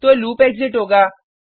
तो loop exit होगा